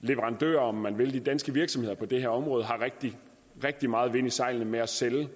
leverandører om man vil de danske virksomheder på det her område har rigtig rigtig meget vind i sejlene med at sælge